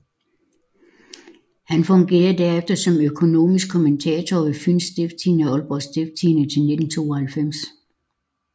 Han fungerede derefter som økonomisk kommentator ved Fyens Stiftstidende og Aalborg Stiftstidende til 1992